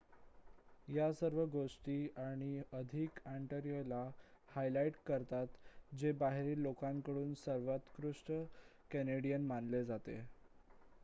या सर्व गोष्टी आणि अधिक ऑन्टारियोला हायलाईट करतात जे बाहेरील लोकांकडून सर्वोत्कृष्ट कॅनेडियन मानले जाते